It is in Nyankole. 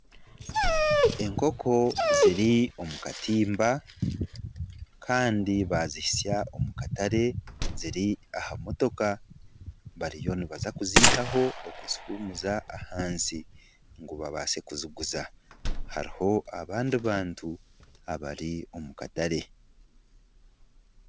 Enkooko ziri omu katimba kandi bazihitsya omu katare ziri aha motoka bariyo nibaza kuzihaaho okuzihumuza ahansi ngu babaase kuziguza hariho abandi bantu abari omu katare.